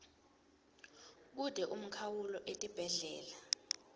kute umkhawulo etibhedlela